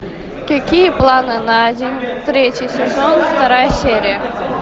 какие планы на день третий сезон вторая серия